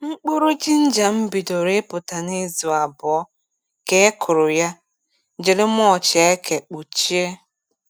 Mkpụrụ jinja m bidoro ịpụta n’izu abụọ ka e kụrụ ya jiri mulch eke kpuchie.